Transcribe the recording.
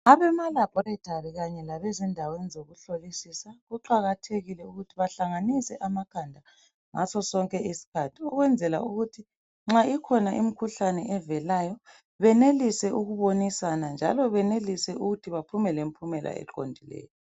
Abema laboratory kanye labezindaweni zokuhlolisisa kuqakathekile ukuthi bahlanganise amakhanda ngaso sonke isikhathi ukwenzela ukuthi nxa ikhona imikhuhlane evelayo benelise ukubonisana njalo benelise ukuthi baphume lempumela eqondileyo